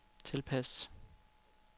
tilpas